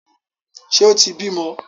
Ṣe o tí bímọ?